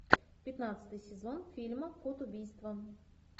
пятнадцатый сезон фильма код убийства